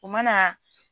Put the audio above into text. O mana